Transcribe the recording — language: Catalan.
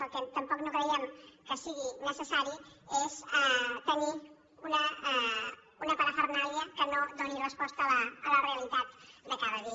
el que tampoc no creiem que sigui necessari és tenir una pa·rafernàlia que no doni resposta a la realitat de cada dia